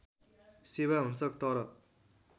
सेवा हुन्छ तर